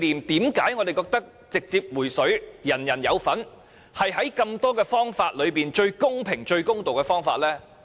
為何我們認為直接"回水"，派發現金人人有份，是在眾多方法中最公平和最公道的方法呢？